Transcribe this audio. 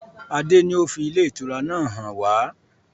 Adé ni ó fi ilé ìtura náà hàn wá.